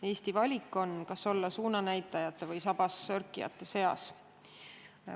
Eesti valik on, kas olla suunanäitajate või sabassörkijate seas.